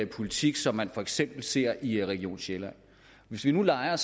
politik som man for eksempel ser i region sjælland hvis vi nu leger